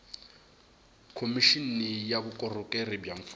khomixini ya vukorhokeri bya mfumo